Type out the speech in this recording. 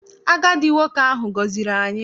Agadi nwoke ahụ gọziri anyị.